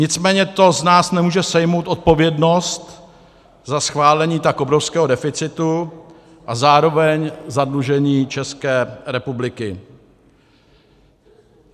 Nicméně to z nás nemůže sejmout odpovědnost za schválení tak obrovského deficitu a zároveň zadlužení České republiky.